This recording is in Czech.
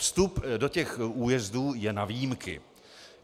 Vstup do těch újezdů je na výjimky.